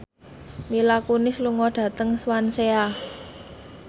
Mila Kunis lunga dhateng Swansea